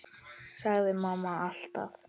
sagði mamma alltaf.